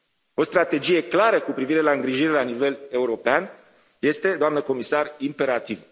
O strategie clară cu privire la îngrijire la nivel european este, doamnă comisar, imperativă.